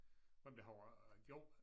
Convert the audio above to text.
Hvem der har øh gjort